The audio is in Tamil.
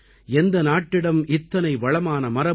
எந்த நாட்டிடம் இத்தனை வளமான மரபும்